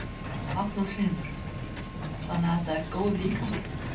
Magnús Hlynur: Þannig þetta er góð líkamsrækt?